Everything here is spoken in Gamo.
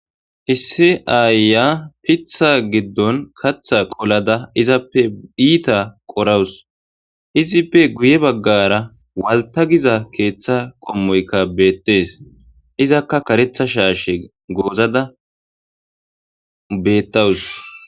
issi aayiya piitha giddon kaaththa qolada izappe iita qorawus. izippe guye baggara waltta giza keeththa qommoyka beettees. izakka karetha shaashe goozada beettawus.